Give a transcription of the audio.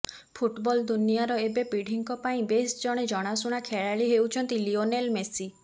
football ଦୁନିଆର ଏବେ ପିଢ଼ିଙ୍କ ପାଇଁ ବେଶ୍ ଜଣେ ଜଣାଣୁଣା ଖେଳାଳି ହେଉଛନ୍ତି ଲିଓନେଲ୍ ମେସି